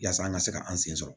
Yaasa an ka se ka an sen sɔrɔ